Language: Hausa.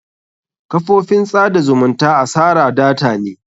Kafofin tsada zumunta asara data ne.